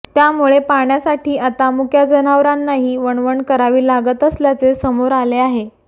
त्यामुळे पाण्यासाठी आता मुक्या जनावरांनाही वणवण करावी लागत असल्याचे समोर आले आहे